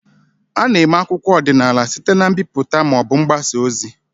A na-eme akwụkwọ akụkọ ọdịnala site na mbipụta ma ọ bụ mgbasa ozi.